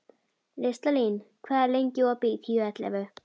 Listalín, hvað er lengi opið í Tíu ellefu?